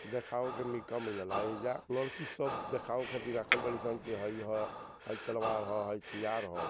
देखाऊं के का मिलेला एजा लड़की सब देखाऊं खातिर रखल बानी सन की हेई ह हई तलवार हअ हई तियार हअ।